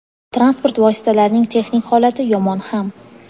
Transport vositalarining texnik holati yomon ham.